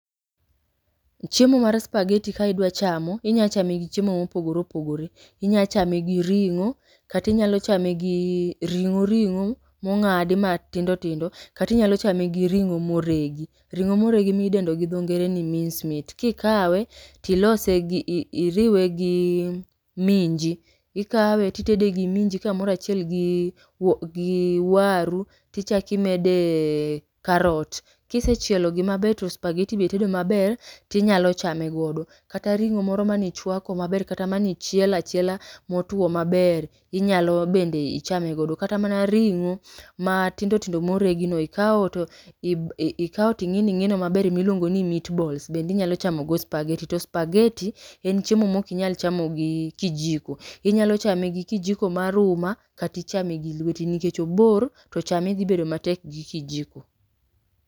Chiemo mar spaghetti ka idwa chamo, inyalo chame gi chiemo mopogore opogore, inya chame gi ring'o kata inyalo chame gi ring'o ring'o mong'adi matindo tindo kata inyalo chame gi ring'o ma oregi, ringo'o ma oregi ma idendo gi dho ngere ni minced meat. Kikawe tilose gi ii iriwe gi minji, ikawe to itede gi minji kamoro achiel gi wu gi waru tichako imede carrot. Kisechielo gi maber to spaghetti be itedo maber, tinyalo chame godo. Kata ring'o moro mane ichwako maber kata mane ichielo achiela motuo maber, inyalo bende ichame go. Kata mana ring'o matindo tindo ma oregi no, ikao to ib ikao to ing'ino ing'ino maber ma iluongo ni meat balls bende inyalo chamo godo spaghetti, to spaghetti en chiemo ma ok inyalo chamo gi kijiko, inyalo chame gi kijiko mar uma kata ichame gi lweti nikech obor to chame dhi bedo matek gi kijiko.